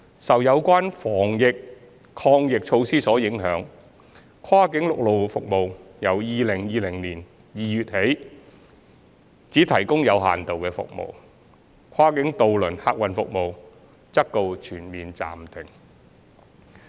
受有關防疫抗疫措施所影響，跨境陸路服務由2020年2月起只提供有限度服務，跨境渡輪客運服務則告全面暫停。